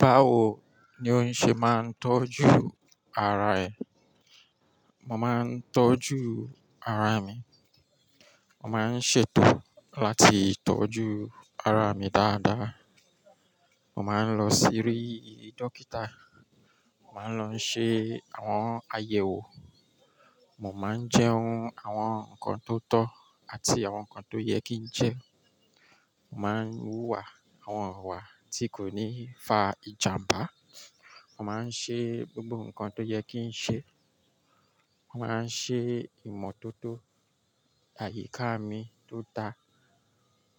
Báwo ni o ń ṣe máa ń tọ́jú ara ẹ? Mo máa ń tọ́jú ara mi, mo máa ń ṣètò láti tọ́jú ara mi dáadáa. Mo máa ń lọ sí ri dókítà, màá lọ ṣe àwọn àyẹ̀wò, mo máa ń jẹun àwọn nǹkan tó tọ́ àti àwọn nǹkan tó yẹ kí n jẹ, màá ń wúwa àwọn ọ̀wà tí kò ní fa ìjàmbá. Mo màá ń ṣe gbogbo nǹkan tó yẹ kí n ṣe, mo màá ń ṣe ìmọ̀tótó àyíká mi tó dáa.